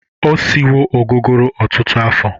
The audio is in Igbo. O siwo ogogoro ụtụtụ afọ.